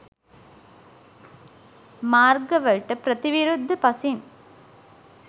මාර්ග වලට ප්‍රතිවිරුද්ධ පසින්